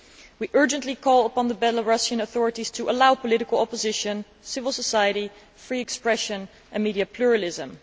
We urgently call upon the Belarusian authorities to allow political opposition, civil society, free expression and media pluralism.